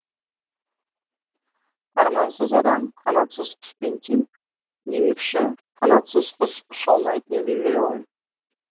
армансыз адам қанатсыз құспен тең демекші қанатсыз құс ұша алмайтыны белгілі ғой